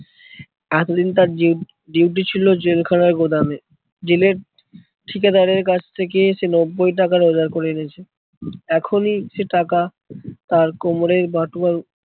এতদিন তার জি DUTY ছিল জেল খানার গোদামে। জেলের ঠিকেদারের কাছ থেকে সে নব্বই টাকা রোজগার করে এনেছে। এখনই সে টাকা তার কোমরের বাটুয়া